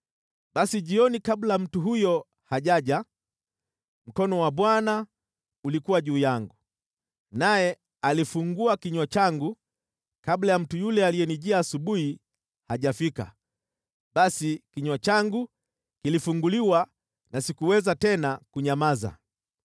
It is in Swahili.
Basi jioni kabla mtu huyo hajaja, mkono wa Bwana , ulikuwa juu yangu, naye alifungua kinywa changu kabla ya mtu yule aliyenijia asubuhi hajafika. Basi kinywa changu kilifunguliwa na sikuweza tena kunyamaza.